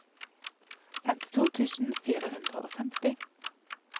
femtito tusen fire hundre og femti